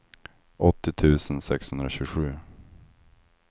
åttio tusen sexhundratjugosju